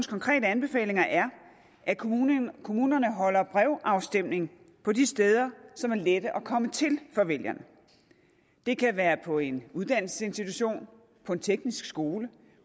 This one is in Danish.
konkrete anbefalinger er at kommunerne kommunerne holder brevafstemning på de steder som er lette at komme til for vælgerne det kan være på en uddannelsesinstitution på en teknisk skole